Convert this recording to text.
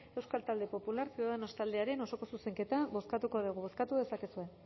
euskal talde popular ciudadanos taldearen osoko zuzenketa bozkatuko dugu